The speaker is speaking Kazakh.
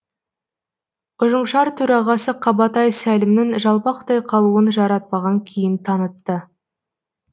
ұжымшар төрағасы қабатай сәлімнің жалпақтай қалуын жаратпаған кейіп танытты